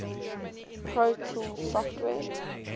pro tools software